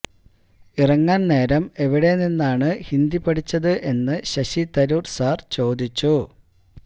ഇറങ്ങാന് നേരം എവിടെ നിന്നാണ് ഹിന്ദി പഠിച്ചത് എന്ന് ശശി തരൂര് സാര് ചോദിച്ചു